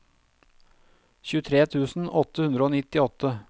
tjuetre tusen åtte hundre og nittiåtte